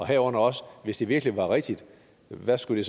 herunder også at hvis det virkelig var rigtigt hvad skulle